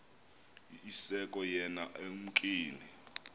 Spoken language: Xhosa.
iske yona ekumkeni